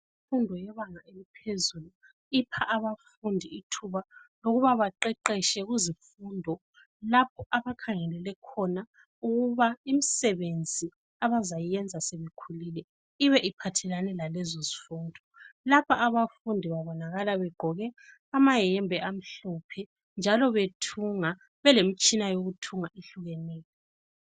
Imfundo yebanga eliphezulu ipha abafundi ithuba lokuba baqeqetshe kuzimfundo lapho abakhangelele khona ukuba imsebenzi abazayenza sebekhulile ibe iphathelane lalezozifundo , lapha abafundi babonakala begqoke amayembe amhlophe njalo bethunga belemtshina yokuthunga ehlukeneyo